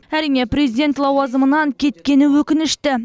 әрине президент лауазымынан кеткені өкінішті